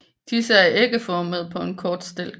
Disse er ægformede på en kort stilk